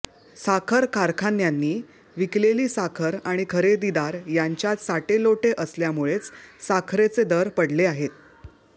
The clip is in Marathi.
साखर कारखान्यांनी विकेलेली साखर आणि खरेदीदार यांच्यात साटेलोटे असल्यामुळेच साखरेचे दर पडले आहेत